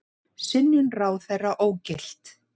Synjun ráðherra ógilt